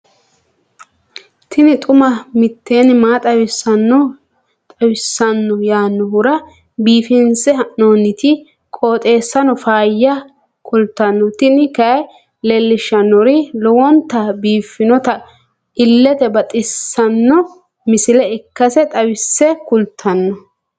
tini xuma mtini maa xawissanno yaannohura biifinse haa'noonniti qooxeessano faayya kultanno tini kayi leellishshannori lowonta biiffinota illete baxissanno misile ikkase xawisse kultanno.